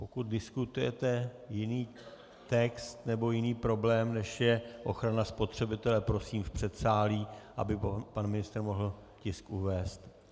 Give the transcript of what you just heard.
Pokud diskutujete jiný text nebo jiný problém, než je ochrana spotřebitele, prosím v předsálí, aby pan ministr mohl tisk uvést.